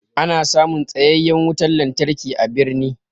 Ana samun tsayayyan wutan lantarki a birni.